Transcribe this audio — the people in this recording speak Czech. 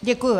Děkuji.